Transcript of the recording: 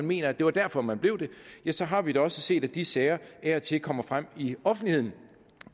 mener at det var derfor man blev det ja så har vi da også set at de sager af og til kommer frem i offentligheden